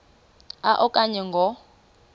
a okanye ngo